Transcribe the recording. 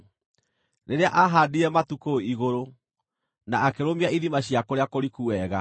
rĩrĩa aahaandire matu kũu igũrũ, na akĩrũmia ithima cia kũrĩa kũriku wega,